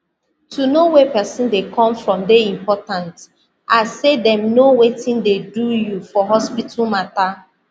to know where pesin dey come from dey important as say dem know wetin dey do you for hospital matter